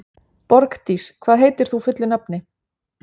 Borgdís, hvað heitir þú fullu nafni?